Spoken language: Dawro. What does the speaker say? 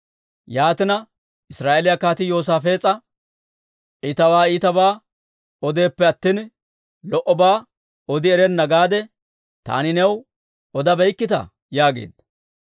Yaatina, Israa'eeliyaa kaatii Yoosaafees'a, « ‹I tawaa iitabaa odeeppe attina, lo"obaa odi erenna› gaade taani new odabeykkitaa?» yaageedda.